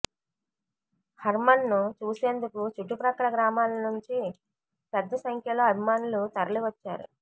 హర్మన్ను చూసేందుకు చుట్టు ప్రక్కల గ్రామాల నుంచి పెద్ద సంఖ్యలో అభి మానులు తరలివచ్చారు